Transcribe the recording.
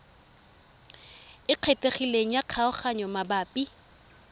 e kgethegileng ya kgaoganyo mabapi